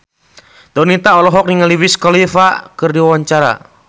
Donita olohok ningali Wiz Khalifa keur diwawancara